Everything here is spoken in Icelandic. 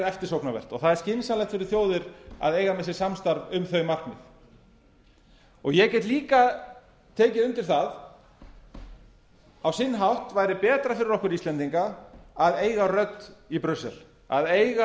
eftirsóknarvert og það er skynsamlegt fyrir þjóðir að eiga með sér samstarf um þau markmið ég get líka tekið undir það að á sinn hátt væri betra fyrir okkur íslendinga að eiga rödd í brussel að eiga